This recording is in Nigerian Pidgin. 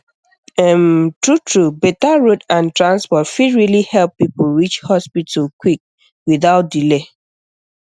um truetrue better road and transport fit really help people reach hospital quick without delay